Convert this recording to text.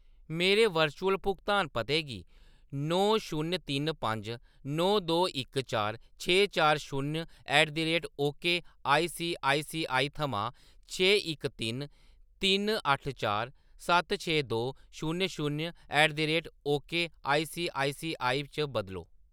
मेरे वर्चुअल भुगतान पते गी नौ शून्य तिन पंज नौ दो इक चार छे चार शून्य ऐट द रेट ओकेसीआईसीआई थमां छे इक तिन तिन अट्ठ चार सत्त छे दो शून्य शून्य ओकेसीआईसीआई च बदलो